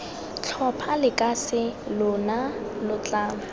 tlhopha lekase lona lo tla